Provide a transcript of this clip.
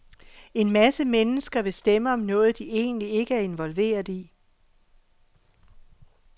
En masse mennesker vil stemme om noget, de egentlig ikke er involveret i.